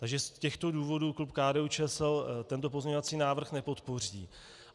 Takže z těchto důvodů klub KDU-ČSL tento pozměňovací návrh nepodpoří.